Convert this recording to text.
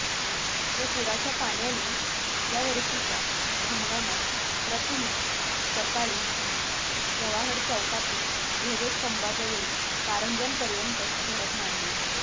या पुराच्या पाण्याने या वर्षीच्या हंगामात प्रथमच मंगळवारी सकाळी जवाहर चौकातील ध्वजस्तभांजवळील कारंज्यापर्यंत धडक मारली